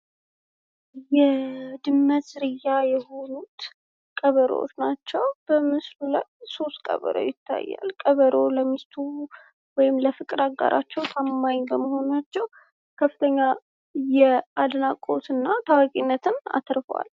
የድመት ዝርያ የሆኑት ቀበሮዎች ናቸው። በምስሉ ላይ ሦስት ቀበሮዎች ይታያሉ፤ ቀበሮዎች ለሚስቶቻቸው ወይም ለፍቅር አጋሮቻቸው ታማኝ በመሆናቸው አድናቆት አግኝተዋል።